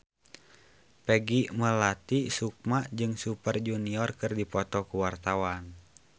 Peggy Melati Sukma jeung Super Junior keur dipoto ku wartawan